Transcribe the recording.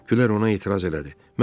Gülər ona etiraz elədi.